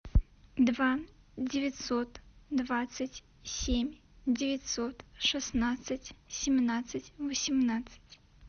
два девятьсот двадцать семь девятьсот шестнадцать семнадцать восемнадцать